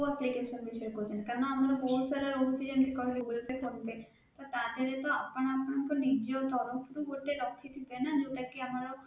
ଆପଣ କୋଉ application ବିଷୟ ରେ କହୁଛନ୍ତି କାରଣ ଆମର ବହୁତ ସାରା ଯେମିତି କହିବେ goggle pay, phone pay ତା ଦେହ ରେ ତ ଆପଣ ଆପଣଙ୍କ ନିଜ ତରଫ ରୁ ଗୋଟେ ରଖିଥିବେ ନା ଯୋଉଟା କି ଆମର